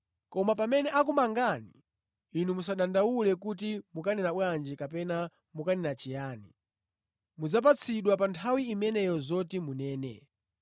Koma pamene akumangani, inu musadandaule kuti mukanena bwanji kapena mukanena chiyani. Mudzapatsidwa pa nthawi imeneyo zoti munene,